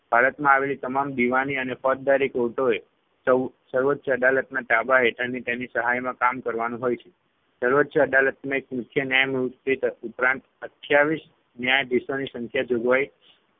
ભારતમાં આવેલી તમામ દીવાની અને ફોજદારી courts એ સૌ સર્વોચ્ય અદાલતના તાબા હેઠળની તેની સહાયમાં કામ કરવાનું હોય છે સર્વોચ્ય અદાલતમાં એક મુખ્ય ન્યાયમૂર્તિ ત ઉપરાંત અઠ્ઠાવીસ ન્યાયાધીશોની સંખ્યા જોગવાઈ